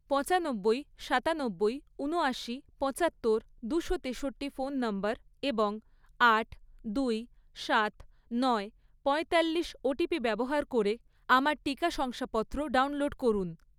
পঁচানব্বই, সাতানব্বই, ঊনয়াশি, পঁচাত্তর, দুশো তেষট্টি ফোন নম্বর এবং আট, দুই, সাত, নয়, পঁয়তাল্লিশ ওটিপি ব্যবহার করে আমার টিকা শংসাপত্র ডাউনলোড করুন